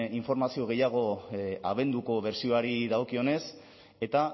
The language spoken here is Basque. informazio gehiago abenduko inbertsioari dagokionez eta